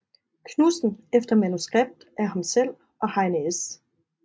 Knudsen efter manuskript af ham selv og Heine S